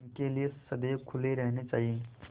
उनके लिए सदैव खुले रहने चाहिए